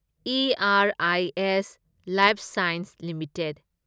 IRIS life sciences limited